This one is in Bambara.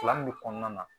Kalan min bɛ kɔnɔna na